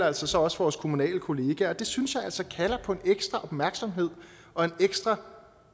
altså også vores kommunale kollegaers løn det synes jeg altså kalder på en ekstra opmærksomhed og et ekstra